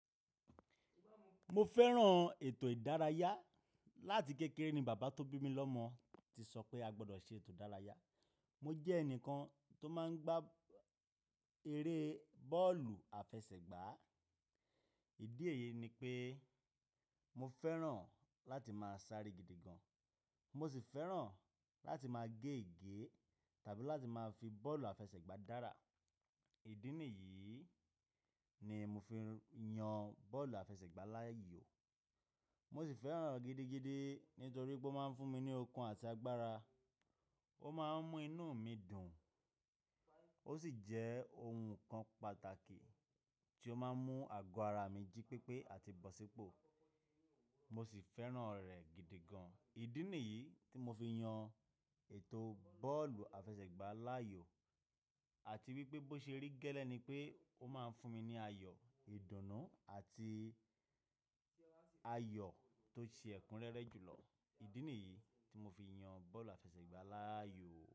Mo fẹ́ràn ètò ìdárayá. Láti kékeré ni bàbá tó bí mi lọ́mọ ti sọ pé a gbọdọ̀ ṣe ètò ìdárayá. Mo jẹ́ ẹnìkan tó máa ń gbá eré bọ́ọ̀lù àfẹsẹ̀gbá. Ìdí èyí ni pé mo fẹ́ràn láti máa sáré gidi gan. Mo sì fẹ́ràn láti máa gé ègé tàbí láti máa fi bọ́ọ̀lù àfẹsẹ̀gbá dára. Ìdí nìyí ni mo fi yan bọ́ọ̀lù àfẹsẹ̀gbá láàyò. Mo sì fẹ́ràn ẹ̀ gidi gidi nítorí pé ó máa ń fún mi ní okun àti agbára. Ó máa ń mú inú mi dùn, ó sì jẹ́ ohun kan pàtàkì tí ó máa ń mú àgọ́ ara mi jí pépé àti bọ̀sípọ̀. Mo sì fẹ́ràn rẹ̀ gidi gan. Ìdí nìyí tí mo fi yan ètò bọ́ọ̀lù àfẹsẹ̀gbá láàyò. Àti wípé bó ṣe rí gẹ́lẹ́ ni pé ó máa ń fún mi ní ayọ̀, ìdùnnú àti ayọ̀ tó ṣe ẹkúnrẹ́rẹ́ jùlọ. Ìdí nìyí tí mo fi yan bọ́ọ̀lù àfẹsẹ̀gbá láàyò.